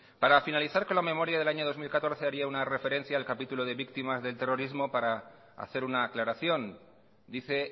para finalizar con la memoria del año dos mil catorce haría una referencia al capítulo de víctimas del terrorismo para hacer una aclaración dice